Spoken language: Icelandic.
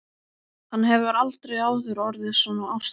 Hann hefur aldrei áður orðið svona ástfanginn.